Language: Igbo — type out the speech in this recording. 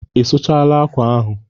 Ị sụchala akwa ahụ?